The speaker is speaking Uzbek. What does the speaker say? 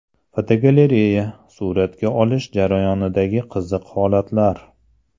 Fotogalereya: Suratga olish jarayonidagi qiziq holatlar.